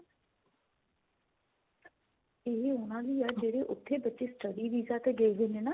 ਇਹ ਉਹਨਾ ਲਈ ਆ ਉੱਥੇ ਜਿਹੜੇ ਬੱਚੇ study visa ਤੇ ਗਏ ਹੋਏ ਨੇ ਨਾ